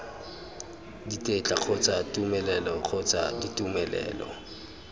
ditetla kgotsa tumelelo kgotsa ditumelelo